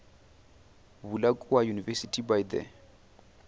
bula kua university by the